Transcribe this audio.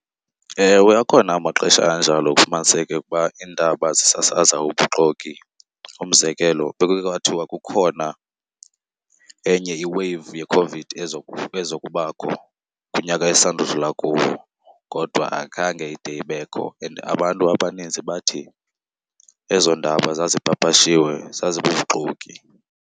Ewe, akhona amaxesha anjalo kufumaniseke ukuba iindaba zisasaza ubuxoki. Umzekelo bekuke kwathiwa kukhona enye iweyivu yeCOVID ezokubakho kunyaka esisanda udlula kuwo kodwa akhange ide ibekho and abantu abaninzi bathi ezo ndaba zazipapashiwe zazibubuxoki.